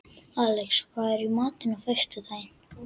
Alex, hvað er í matinn á föstudaginn?